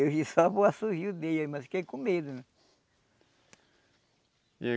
Eu vi só o assovio dele, mas fiquei com medo, né? E